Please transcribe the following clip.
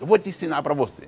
Eu vou te ensinar para você.